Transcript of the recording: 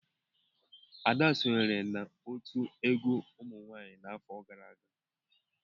Ada sonyeere n'otu egwu umunwanyi n'afọ gara aga.